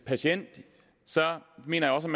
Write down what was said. patient mener jeg